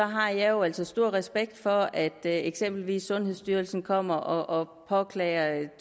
har jeg jo altså stor respekt for at eksempelvis sundhedsstyrelsen kommer og påklager